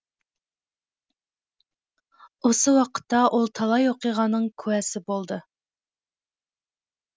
осы уақытта ол талай оқиғаның куәсі болды